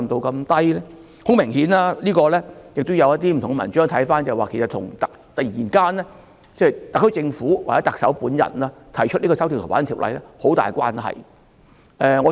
很明顯，從不同的文章可以看到，這跟特區政府或特首本人突然提出修訂《逃犯條例》有很大關係。